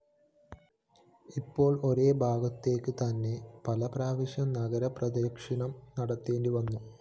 ഇപ്പോള്‍ ഒരേഭാഗത്തേക്ക് തന്നെ പലപ്രാവശ്യം നഗരപ്രദക്ഷിണം നടത്തേണ്ടിവരുന്നു